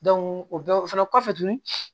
o bɛɛ o fɛnɛ kɔfɛ tuguni